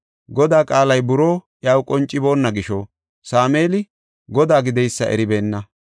Godaa qaalay buroo iyaw qonciboonna gisho, Sameeli Godaa gideysa eribeenna.